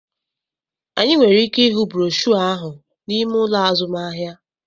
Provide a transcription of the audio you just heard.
Anyị nwere ike ịhụ broshuọ ahụ n'ime ụlọ azụmahịa